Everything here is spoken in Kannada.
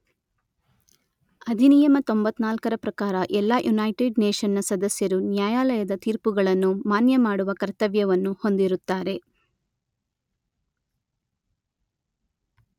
ಅಧಿನಿಯಮ ತೊಂಬತ್ತ ನಾಲ್ಕರ ಪ್ರಕಾರ ಎಲ್ಲಾ ಯುನೈಟೆಡ್ ನೇಶನ್‌ನ ಸದಸ್ಯರು ನ್ಯಾಯಾಲಯದ ತೀರ್ಪುಗಳನ್ನು ಮಾನ್ಯ ಮಾಡುವ ಕರ್ತ್ಯವ್ಯವನ್ನು ಹೊಂದಿರುತ್ತಾರೆ.